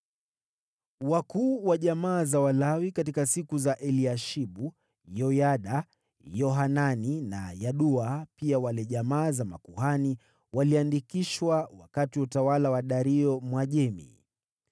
Wakuu wa jamaa za Walawi katika siku za Eliashibu, Yoyada, Yohanani na Yadua, pia wale jamaa za makuhani, waliandikishwa wakati wa utawala wa Dario, Mwajemi.